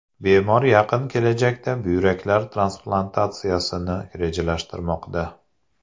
Bemor yaqin kelajakda buyraklar transplantatsiyasini rejalashtirmoqda.